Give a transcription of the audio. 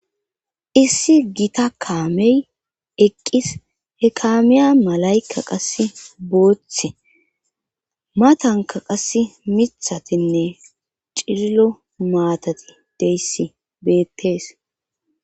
Issi gita kaamey eqqis he kaameya malayka qase booththe matanka qass mithatinne cillo maatati deyssi beettees